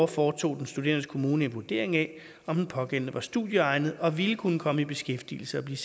foretog den studerendes kommune en vurdering af om den pågældende var studieegnet og ville kunne komme i beskæftigelse og blive